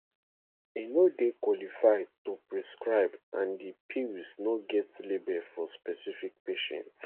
e no dey qualified to prescribe and di pills no get label for specific patient